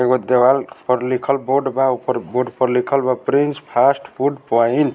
एगो देवाल पर लिखल बोर्ड बा उ पर बोर्ड पर लिखल बा प्रिंस फास्ट फूड पोइन ।